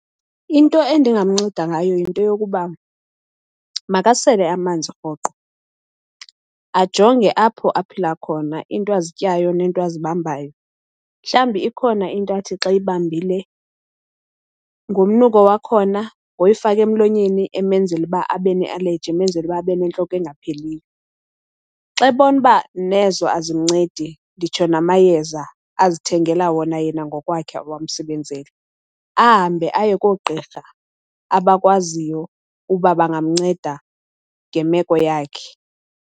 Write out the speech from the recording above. Into endingamnceda ngayo yinto yokuba makasele amanzi rhoqo, ajonge apho aphila khona, iinto azityayo nento azibambayo. Mhlawumbi ikhona into athi xa eyibambile ngomnuko wakhona, ngoyifaka emlonyeni emenzela uba abe nealeji, emenzela uba abe nentloko engapheliyo. Xa ebona uba nezo azimncedi nditsho namayeza azithengela wona yena ngokwakhe awamsebenzeli, ahambe aye koogqirha abakwaziyo uba bangamnceda ngemeko yakhe.